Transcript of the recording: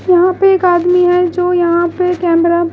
यहां पे एक आदमी है जो यहां पे कैमरा --